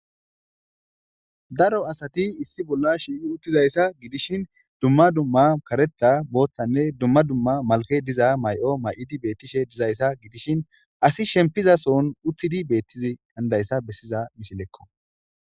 Daro asati issi bolla shiiqi uttizayssa gidishin dumma dumma karetha booththanne dumma dumma malkke diza may7o may7idi beettishe dizayssa gidishin asi shempiza soon uthidi beettizi hanidayssa bessiza misilekko.